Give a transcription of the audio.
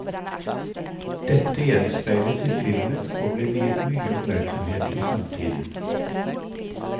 Dette gjenspeiles i filmen og ble viet mye oppmerksomhet i samtiden.